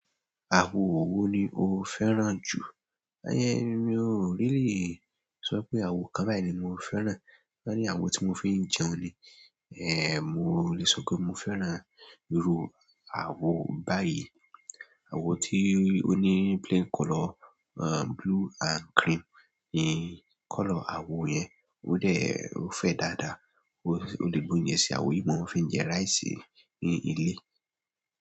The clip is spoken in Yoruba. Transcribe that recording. Àwo wo ni o fẹ́ràn jù? Ayé mi ò really sọ pé àwo kan báyìí ni mo fẹ́ràn, torí àwo tí mo fi ń jẹun ni. Eh, mo lè sọ pé mo fẹ́ràn ìrù àwo báyìí, àwo tí ó ní plain color, uh, blue and cream ni color àwo yẹn, ó dẹ̀, ó fẹ́ dáadáa. Mo le gbe oúnjẹ sí àwo yìí mo fi ń jẹ rice ní ilé.